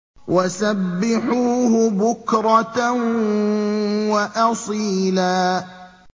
وَسَبِّحُوهُ بُكْرَةً وَأَصِيلًا